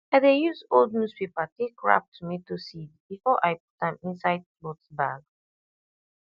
i dey use old newspaper take wrap tomato seed before i put am inside cloth bag